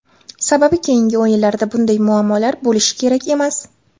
Sababi keyingi o‘yinlarda bunday muammolar bo‘lishi kerak emas.